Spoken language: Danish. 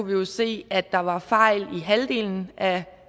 vi jo se at der var fejl i halvdelen af